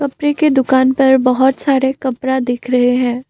के दुकान पर बहोत सारे कपरा दिख रहे है।